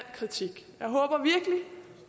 kritik